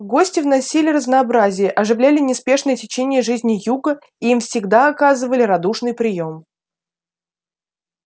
гости вносили разнообразие оживляли неспешное течение жизни юга и им всегда оказывали радушный приём